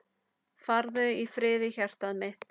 Farðu í friði hjartað mitt.